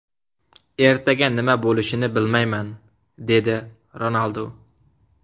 Ertaga nima bo‘lishini bilmayman”, – deydi Ronaldu.